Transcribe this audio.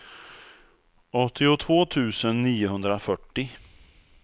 åttiotvå tusen niohundrafyrtio